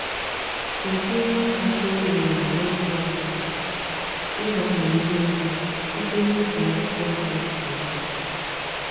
Ụdị ugbo kacha ewu ewu n’ógbè anyị bụ ịgbanwe ihe ugbo site n’iji akwụkwọ nri na ọka.